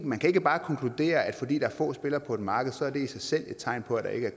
man kan ikke bare konkludere at fordi der er få spillere på et marked så er det i sig selv et tegn på at der ikke